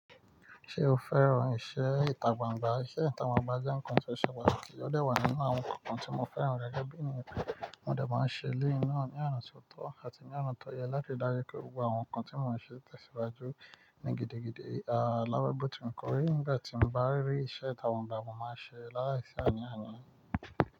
Ṣé o fẹ́ràn iṣẹ́ ìtagbangba? Iṣẹ́ ìtagbangba jẹ́ ǹkan tó ṣẹ̀ pataki ode wà nínú àwọn ǹkan tí mo fẹ́ràn gẹ́gẹ́ bí ènìyàn. Mo de máa ń ṣe elẹ́yì náà ní oná tó tọ́ àti ní oná tó yẹ láti ri dájú pé gbogbo àwọn ǹkan tí mò ń ṣe tẹ̀síwájú ní gidigidi. À láwẹ̀bọ̀ tí mo kọrí nígbà tí mo bá rí iṣẹ́ ìtagbangba, mo máa ṣe láàísí àní àní.